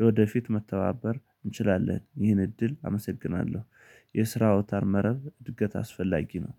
ለወደፊት መተባበር እንችላለን ይህን እድል አመሰግናለሁ። የስራ አውታር መረብ እድገት አስፈላጊ ነው።